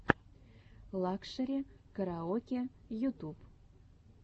лакшери караоке ютуб